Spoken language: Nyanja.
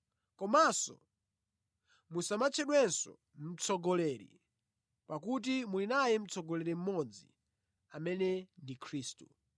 Komanso musamatchedwenso ‘Mtsogoleri,’ pakuti muli naye Mtsogoleri mmodzi amene ndi Khristu.